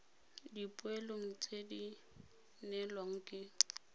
dipoelong tse di neelwang ke